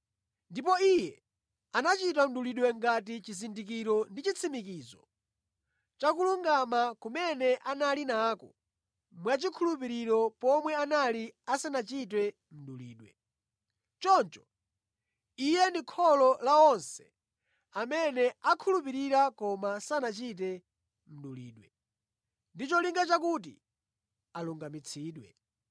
Ndipo iye anachita mdulidwe ngati chizindikiro ndi chitsimikizo cha kulungama kumene anali nako mwachikhulupiriro pomwe anali asanachite mdulidwe. Choncho, iye ndi kholo la onse amene akhulupirira koma sanachite mdulidwe, ndi cholinga chakuti alungamitsidwe.